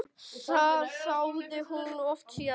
Það þáði hún oft síðar.